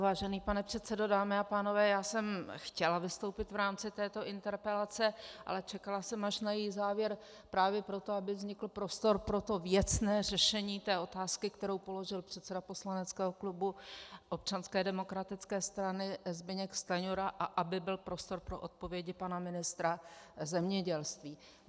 Vážený pane předsedo, dámy a pánové, já jsem chtěla vystoupit v rámci této interpelace, ale čekala jsem, až na její závěr právě proto, aby vznikl prostor pro to věcné řešení té otázky, kterou položil předseda poslaneckého klubu Občanské demokratické strany Zbyněk Stanjura, a aby byl prostor pro odpovědi pana ministra zemědělství.